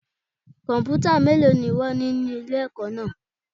Kọ̀m̀pútà mélòó ni wón ní ní ilé ẹ̀kọ́ náà.